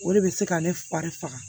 O de bɛ se ka ne fari faga